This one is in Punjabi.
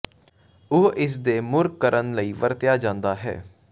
ਉਹ ਇਸ ਦੇ ਮੁੜ ਕਰਨ ਲਈ ਵਰਤਿਆ ਜਾਦਾ ਹੈ